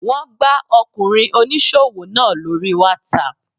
Wọ́n gbá Ọkùnrin oníṣòwò náà lóri whatsapp.